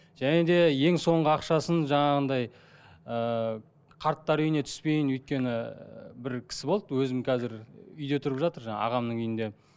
және де ең соңғы ақшасын жаңағындай ыыы қарттар үйіне түспейін өйткені бір кісі болды өзім қазір үйде тұрып жатыр жаңа ағамның үйінде